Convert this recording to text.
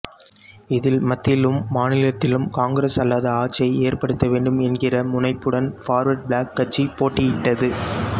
இதில் மத்தியிலும் மாநிலத்திலும் காங்கிரஸ் அல்லாத ஆட்சியை ஏற்படுத்த வேண்டும் என்கிற முனைப்புடன் பார்வர்ட் பிளாக் கட்சி போட்டியிட்டது